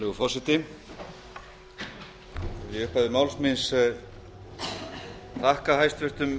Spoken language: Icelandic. virðulegur forseti í upphafi máls mín vil ég þakka hæstvirtum